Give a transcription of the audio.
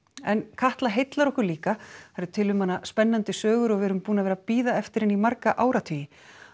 en Katla heillar okkur líka það eru til um hana spennandi sögur og við erum búin að vera að bíða eftir henni í marga áratugi